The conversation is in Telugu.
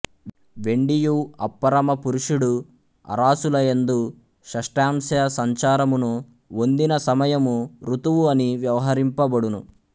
వెండియు అప్పరమపురుషుఁడు ఆరాసులయందు షష్ఠాంశ సంచారమును ఒందిన సమయము ఋతువు అని వ్యవహరింపఁబడును